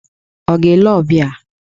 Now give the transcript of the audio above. Ọ̀ ga-ele ọbịa?